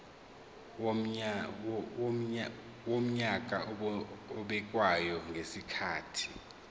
wonyaka obekwayo ngezikhathi